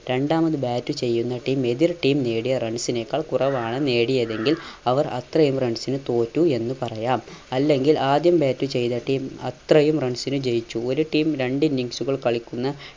രണ്ടാമത് bat ചെയ്യുന്ന team എതിർ team നേടിയ runs നേക്കാൾ കുറവാണ് നേടിയതെങ്കിൽ അവർ അത്രയും runs ന് തോറ്റു എന്ന് പറയാം അല്ലെങ്കിൽ ആദ്യം bat ചെയ്ത team അത്രയും runs ന് ജയിച്ചു. ഒരു team രണ്ട് innings കൾ കളിക്കുന്ന